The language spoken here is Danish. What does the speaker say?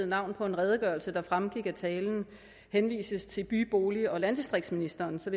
navn på en redegørelse der fremgik af talen henvises til by bolig og landdistriktsministeren så